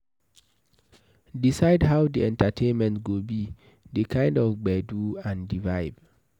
Decide how di entertainment go be, di kind of gbedu and di vibe